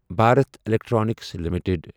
Bharat electronics limited